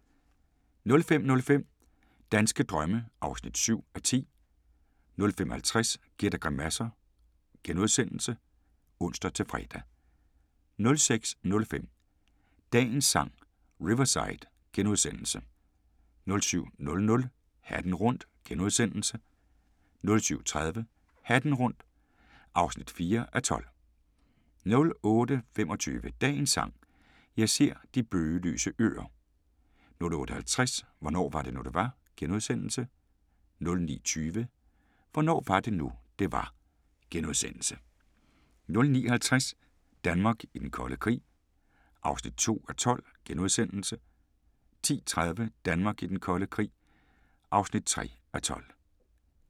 05:05: Danske drømme (7:10) 05:50: Gæt og grimasser *(ons-fre) 06:05: Dagens Sang: Riverside * 07:00: Hatten rundt * 07:30: Hatten rundt (4:12) 08:25: Dagens Sang: Jeg ser de bøgelyse øer 08:50: Hvornår var det nu, det var? * 09:20: Hvornår var det nu, det var? * 09:50: Danmark i den kolde krig (2:12)* 10:30: Danmark i den kolde krig (3:12)